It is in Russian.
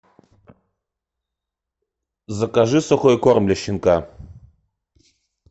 закажи сухой корм для щенка